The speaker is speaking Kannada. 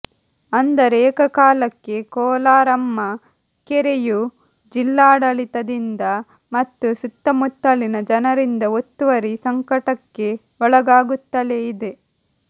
ಅಂದರೆ ಏಕಕಾಲಕ್ಕೆ ಕೋಲಾರಮ್ಮ ಕೆರೆಯು ಜಿಲ್ಲಾಡಳಿತದಿಂದ ಮತ್ತು ಸುತ್ತಮುತ್ತಲಿನ ಜನರಿಂದ ಒತ್ತುವರಿ ಸಂಕಟಕ್ಕೆ ಒಳಗಾಗುತ್ತಲೇ ಇದೆ